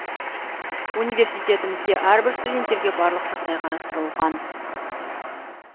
университетімізде әрбір студенттерге барлық жағдай қарастырылған